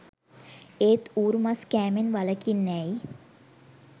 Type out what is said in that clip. ඒත් ඌරු මස් කෑමෙන් වළකින්නැ යි